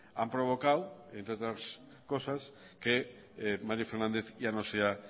han provocado entre otras cosas que mario fernández ya no sea